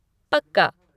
पक्का।